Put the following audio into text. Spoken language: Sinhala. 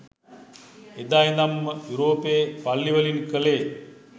එදා ඉදන්ම යුරෝපයේ පල්ලි වලින් කලේ